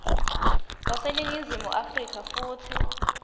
waseningizimu afrika futsi